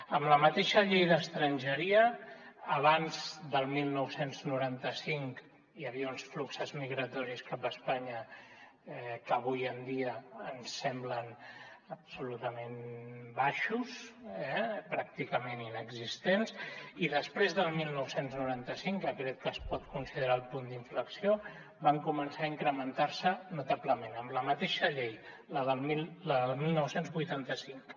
amb la mateixa llei d’estrangeria abans del dinou noranta cinc hi havia uns fluxos migratoris cap a espanya que avui en dia ens semblen absolutament baixos pràcticament inexistents i després del dinou noranta cinc que crec que es pot considerar el punt d’inflexió van començar a incrementar se notablement amb la mateixa llei la del dinou vuitanta cinc